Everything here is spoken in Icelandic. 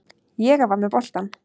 Ég var með boltann.